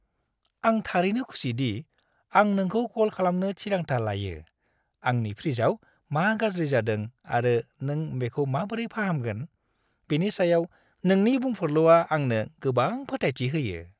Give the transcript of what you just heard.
आं थारैनो खुसि दि आं नोंखौ कल खालामनो थिरांथा लायो-आंनि फ्रिजआव मा गाज्रि जादों आरो नों बेखौ माबोरै फाहामगोन, बेनि सायाव नोंनि बुंफुरलुआ आंनो गोबां फोथायथि होयो।